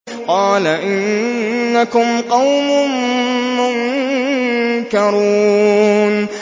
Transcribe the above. قَالَ إِنَّكُمْ قَوْمٌ مُّنكَرُونَ